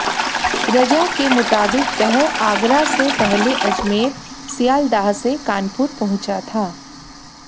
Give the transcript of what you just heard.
रजा के मुताबिक वह आगरा से पहले अजमेर सियालदाह से कानपुर पहुंचा था